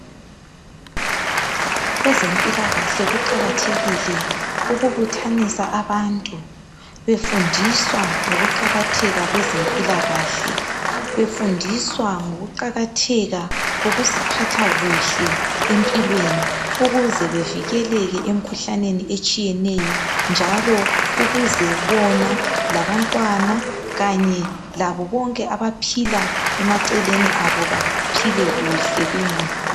Kwezempilakahle kuqakathekile ukubuthanisa abantu befundiswa ngokuqakatheka kwezempilakahle befundiswa ngokuqakatheka kokuziphatha kuhle empilweni ukuze bevikeleke emkhuhlaneni etshiyeneyo njalo ukuze bona labantwana kanye labo bonke abaphila emaceleni kwabo baphile kuhle bengaguli